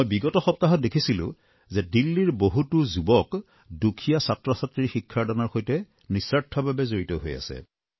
মই বিগত সপ্তাহত দেখিছিলোঁ যে দিল্লীৰ বহুতো যুৱক দুখীয়া ছাত্ৰছাত্ৰীৰ শিক্ষাদানৰ বাবে নিঃস্বাৰ্থভাৱে জড়িত হৈ পৰিছে